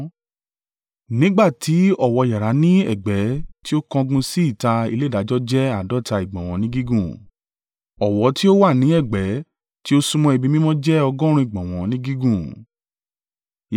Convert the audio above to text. Nígbà tí ọ̀wọ́ yàrá ní ẹ̀gbẹ́ tí ó kángun sí ìta ilé ìdájọ́ jẹ́ àádọ́ta ìgbọ̀nwọ́ ni gígùn, ọ̀wọ́ ti ó wà ní ẹ̀gbẹ́ tí ó súnmọ́ ibi mímọ́ jẹ́ ọgọ́rùn-ún ìgbọ̀nwọ́ ní gígùn.